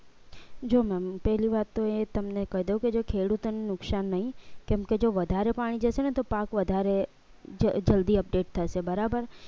જો ma'am પહેલી વાત તો એ તમને કહી દઉં કે જો ખેડૂતોને નુકસાન નહીં કેમકે જો વધારે પાણી જશે ને તો પાક વધારે જલ્દી update થશે બરાબર